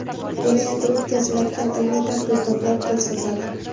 Buni endi o‘tkaziladigan ilmiy tadqiqotlar ko‘rsatadi.